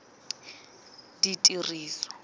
ditiriso